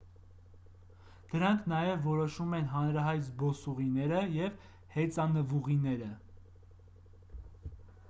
դրանք նաև որոշում են հանրահայտ զբոսուղիները և հեծանվուղիները